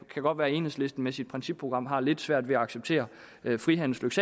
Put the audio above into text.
godt være at enhedslisten med sit principprogram har lidt svært ved at acceptere frihandelens